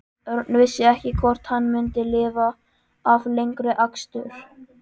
Örn vissi ekki hvort hann myndi lifa af lengri akstur.